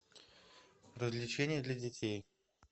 развлечения для детей